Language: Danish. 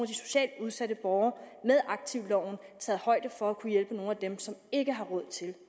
de socialt udsatte borgere med aktivloven taget højde for at kunne hjælpe nogle af dem som ikke har råd til